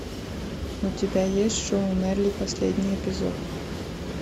у тебя есть шоу мерли последний эпизод